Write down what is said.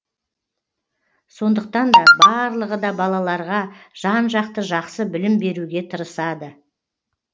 сондықтан да барлығы да балаларға жан жақты жақсы білім беруге тырысады